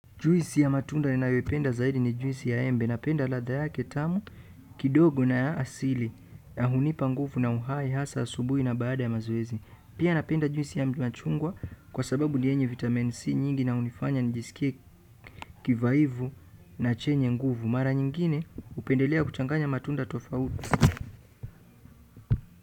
Juisi ya matunda ninayoipenda zaidi ni juisi ya embe. Napenda ladha yake tamu kidogo na asili na hunipa nguvu na uhai hasa asubuhi na baada ya mazoezi. Pia napenda juisi ya machungwa kwa sababu ni yenye vitamin C nyingi na hunifanya njisikie kivaivu na chenye nguvu. Mara nyingine hupendelea kuchanganya matunda tofauti.